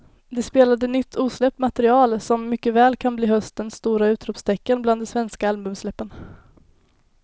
De spelade nytt osläppt material som mycket väl kan bli höstens stora utropstecken bland de svenska albumsläppen.